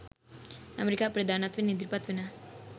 ඇමරිකාවේ ප්‍රධානත්වයෙන් ඉදිරිපත් වෙන